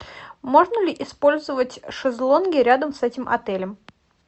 можно ли использовать шезлонги рядом с этим отелем